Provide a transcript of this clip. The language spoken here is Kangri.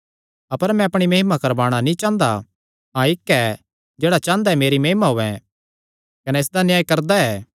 अपर मैं अपणी महिमा करवाणा नीं चांह़दा हाँ इक्क ऐ जेह्ड़ा चांह़दा मेरी महिमा होयैं कने इसदा न्याय करदा ऐ